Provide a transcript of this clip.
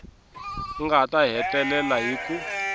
nga ta hetelela hi ku